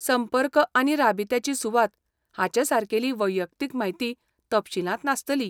संपर्क आनी राबित्याची सुवात हाचेसारकेली वैयक्तीक म्हायती तपशीलांत नासतली.